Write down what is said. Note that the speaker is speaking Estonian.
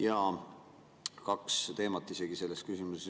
Jaa, kaks teemat isegi selles küsimuses.